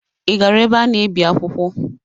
Ị gara ebe a na-ebi akwụkwọ?